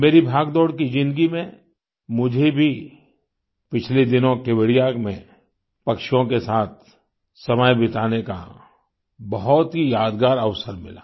मेरी भागदौड़ की ज़िन्दगी में मुझे भी पिछले दिनों केवड़िया में पक्षियों के साथ समय बिताने का बहुत ही यादगार अवसर मिला